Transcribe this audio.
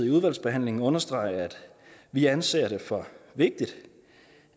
i udvalgsbehandlingen understrege at vi anser det for vigtigt